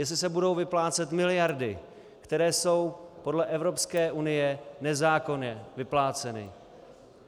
Jestli se budou vyplácet miliardy, které jsou podle Evropské unie nezákonně vypláceny.